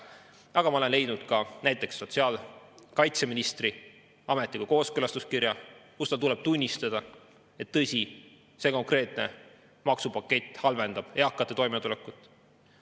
Aga ma näiteks olen leidnud ka sotsiaalkaitseministri ametliku kooskõlastuskirja, kus tal tuleb tunnistada, et see konkreetne maksupakett halvendab eakate toimetulekut.